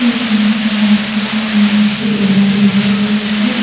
হুম টা মত চলছে ।